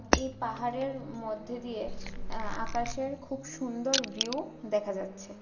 এই পাহাড়ের মধ্যে দিয়ে আ আকাশের খুব সুন্দর ভিউ দেখা যাচ্ছে.